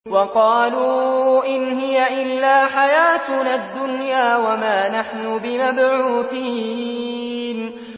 وَقَالُوا إِنْ هِيَ إِلَّا حَيَاتُنَا الدُّنْيَا وَمَا نَحْنُ بِمَبْعُوثِينَ